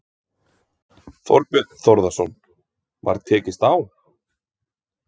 Þorbjörn Þórðarson: Var tekist á?